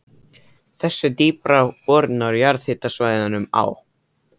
Þessar dýpri boranir á jarðhitasvæðunum á